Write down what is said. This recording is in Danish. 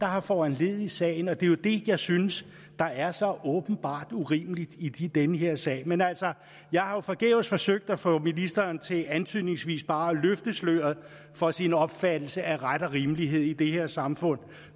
har foranlediget sagen og det er jo det jeg synes der er så åbenbart urimeligt i den her sag men altså jeg har jo forgæves forsøgt at få ministeren til antydningsvis bare at løfte sløret for sin opfattelse af ret og rimelighed i det her samfund